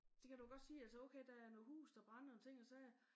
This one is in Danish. Det kan du jo godt sige altså okay der er noget huse der brænder og ting og sager